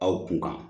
Aw kunkan